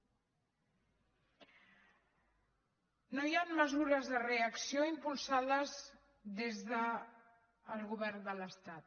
no hi han mesures de reacció impulsades des del govern de l’estat